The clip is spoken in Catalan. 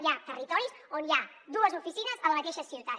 hi ha territoris on hi ha dues oficines a la mateixa ciutat